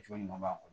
Cogo ɲuman b'a kɔnɔ